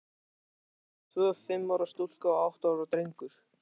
Systkinin voru tvö, fimm ára stúlka og átta ára drengur.